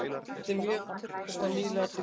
Þetta er mjög svo nýlega tilkomið.